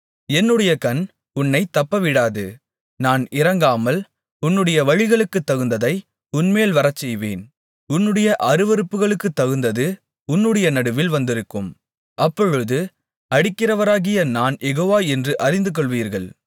என்னுடைய கண் உன்னைத் தப்பவிடாது நான் இரங்காமல் உன்னுடைய வழிகளுக்குத்தகுந்ததை உன்மேல் வரச்செய்வேன் உன்னுடைய அருவருப்புக்களுக்குத்தகுந்தது உன்னுடைய நடுவில் வந்திருக்கும் அப்பொழுது அடிக்கிறவராகிய நான் யெகோவா என்று அறிந்துகொள்வீர்கள்